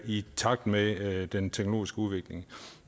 i takt med den teknologiske udvikling